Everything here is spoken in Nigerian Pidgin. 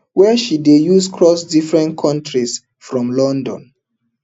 wey she don dey use cross different kontris from london